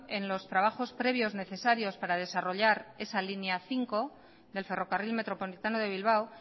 en los trabajos previos necesarios para desarrollar esa línea cinco del ferrocarril metropolitano de bilbao